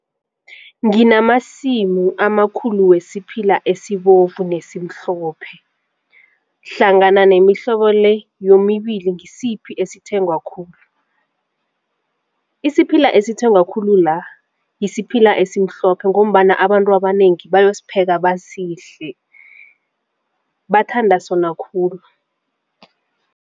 Nginamasimu amakhulu wesiphila esibovu nesimhlophe hlangana nemihlobo le yomibili ngisiphi esithengwa khulu? Isiphila esithengwa khulu la yisiphila esimhlophe ngombana abantu abanengi bayosipheka basidle bathanda sona khulu.